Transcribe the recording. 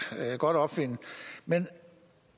godt opfinde men